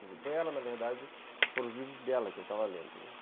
Foi ela, na verdade, foram os livros dela que eu estava lendo, né?